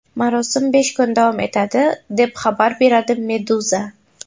Marosim besh kun davom etadi, deb xabar beradi Meduza.